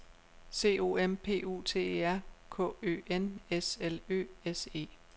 C O M P U T E R K Ø N S L Ø S E